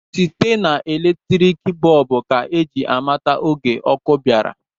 Site na eletriki bọb ka ji amata oge ọkụ bịara.